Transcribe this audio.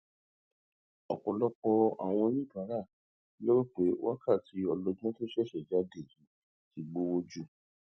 ọpọlọpọ àwọn oníbàárà ló rò pé wákàtí ọlọgbọn tó ṣẹṣẹ jáde yìí ti gbowó jù